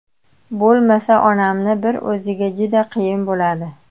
Bo‘lmasa onamni bir o‘ziga juda qiyin bo‘ladi.